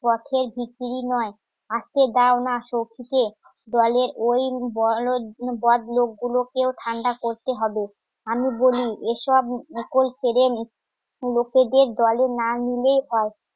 পথের ভিখিরি নয় আসতে দাওনা সখী কে দলের ওই বলদ বদ লোকগুলোকেও ঠান্ডা করতে হবে আমি বলি এসব কেড়ে নিচ্ছে লোকেদের দলে না নিলে